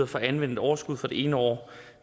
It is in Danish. for at anvende et overskud fra det ene år